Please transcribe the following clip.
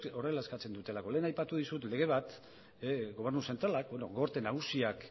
horrela eskatzen duelako lehen aipatu dizut lege bat gorte nagusiak